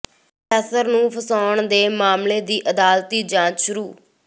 professor ਨੂੰ ਫਸਾਉਣ ਦੇ ਮਾਮਲੇ ਦੀ ਅਦਾਲਤੀ ਜਾਂਚ ਸ਼ੁਰੂ